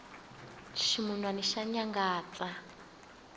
ximunwani xa nyangatsa